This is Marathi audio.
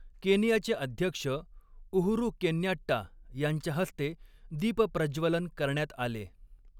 केनियाचे अध्यक्ष उहुरु केन्याट्टा यांच्या हस्ते दीपप्रज्वलन करण्यात आले.